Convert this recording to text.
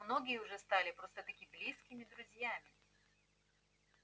многие уже стали просто-таки близкими друзьями